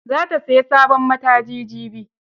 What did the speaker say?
Za ta sayi sabon mataji jibi.